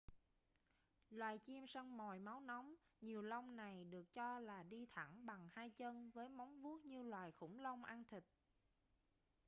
loài chim săn mồi máu nóng nhiều lông này được cho là đi thẳng bằng hai chân với móng vuốt như loài khủng long ăn thịt